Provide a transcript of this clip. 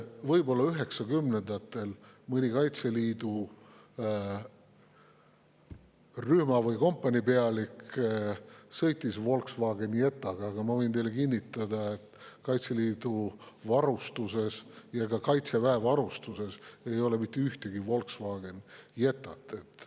Võib-olla 1990-ndatel mõni Kaitseliidu rühma‑ või kompaniipealik sõitis Volkswagen Jettaga, aga ma võin teile kinnitada, et ei Kaitseliidu varustuses ega ka Kaitseväe varustuses pole mitte ühtegi Volkswagen Jettat.